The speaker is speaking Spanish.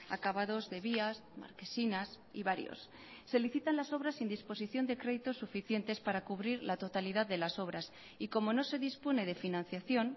acabados de vías marquesinas y varios se licitan las obras sin disposición de créditos suficientes para cubrir la totalidad de las obras y como no se dispone de financiación